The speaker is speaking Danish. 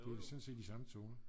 det er sådan set de samme toner